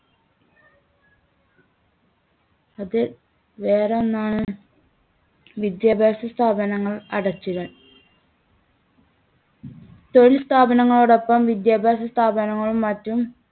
അത് വേറെ ഒന്നാണ് വിദ്യാഭ്യാസ സ്ഥാപനങ്ങൾ അടച്ചിടൽ. തൊഴിൽസ്ഥാപനങ്ങളോടൊപ്പം വിദ്യാഭ്യാസ സ്ഥാപനങ്ങളും മറ്റും